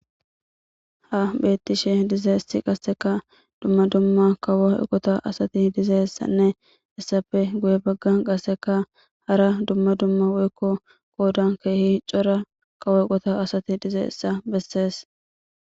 Ha betishe dizayis qaseka dumma dumma kawo eqota asati dizaysanne hayisappe guye bagan qaseka hara dumma dumma woyikko qodan kehi cora kawo eqota asati dizayisa beses.